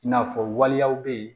I n'a fɔ waleyaw bɛ yen